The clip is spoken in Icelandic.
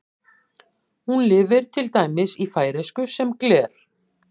Hún lifir til dæmis í færeysku sem gler.